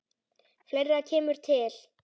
Fleira kemur til.